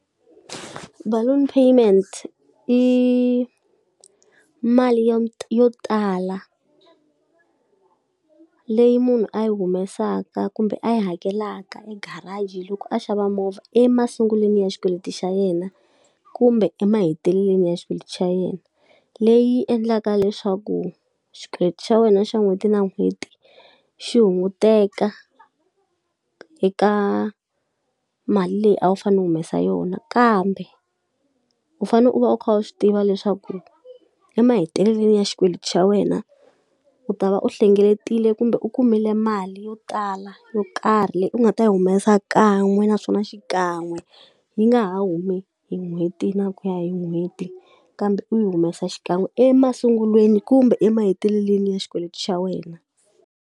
Baloon payment i mali yo yo tala leyi munhu a yi humesaka kumbe a yi hakelaka e garage loko a xava movha emasungulweni ya xikweleti xa yena, kumbe emahetelelweni ya xikweleti xa yena. Leyi endlaka leswaku xikweleti xa wena xa n'hweti na n'hweti xi hunguteka eka mali leyi a wu fanele wu humesa yona. Kambe u fanele u va u kha u swi tiva leswaku emahetelelweni ya xikweleti xa wena u ta va u hlengeletile kumbe u kumile mali yo tala yo karhi leyi u nga ta yi humesa kahle kan'we naswona xikan'we, yi nga ha humi hi n'hweti na ku ya hi n'hweti kambe u yi humesa xikan'we emasungulweni kumbe emahetelelweni ya xikweleti xa wena.